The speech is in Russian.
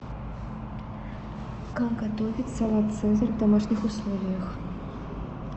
как готовить салат цезарь в домашних условиях